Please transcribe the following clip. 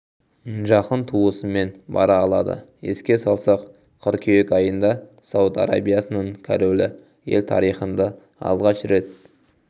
жақын туысымен бара алады еске салсақ қыркүйек айында сауд арабиясының королі ел тарихында алғаш рет